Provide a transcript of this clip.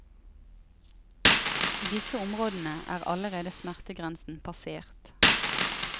I disse områdene er allerede smertegrensen passert.